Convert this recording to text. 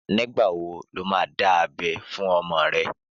Nígbà wo lo máa dá abé fún ọmọ rẹ?